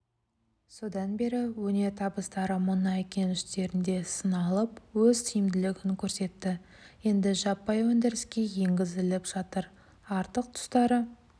содан бері өнертабыстары мұнай кеніштерінде сыналып өз тиімділігін көрсетті енді жаппай өндіріске енгізіліп жатыр артық тұстары